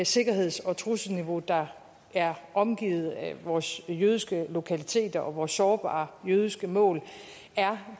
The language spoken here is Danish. sikkerheds og trusselsniveau der er omgivet vores jødiske lokaliteter og vores sårbare jødiske mål er